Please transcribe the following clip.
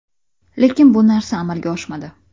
Lekin bu narsa amalga oshmadi.